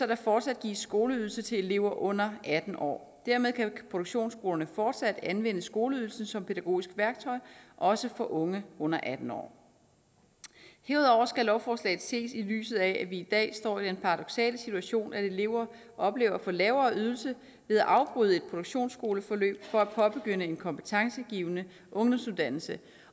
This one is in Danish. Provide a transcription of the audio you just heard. der fortsat gives skoleydelse til elever under atten år dermed kan produktionsskolerne fortsat anvende skoleydelsen som pædagogisk værktøj også for unge under atten år herudover skal lovforslaget ses i lyset af at vi i dag står i den paradoksale situation at elever oplever at få lavere ydelse ved at afbryde et produktionsskoleforløb for at påbegynde en kompetencegivende ungdomsuddannelse